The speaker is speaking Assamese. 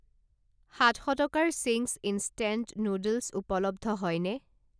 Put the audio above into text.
সাত শ টকাৰ চিংছ ইণষ্টেণ্ট নুডলছ উপলব্ধ হয়নে?